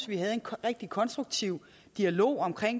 vi havde en rigtig konstruktiv dialog om